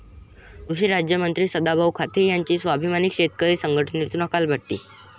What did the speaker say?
कृषिराज्यमंत्री सदाभाऊ खोत यांची स्वाभिमानी शेतकरी संघटनेतून हकालपट्टी